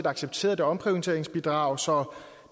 accepteret et omprioriteringsbidrag så